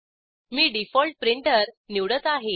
मी default printer निवडत आहे